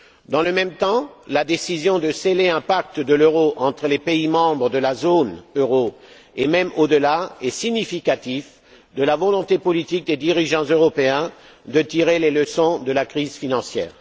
Dans le même temps, la décision de sceller un pacte de l'euro entre les pays membres de la zone euro, et même au delà, est significative de la volonté politique des dirigeants européens de tirer les leçons de la crise financière.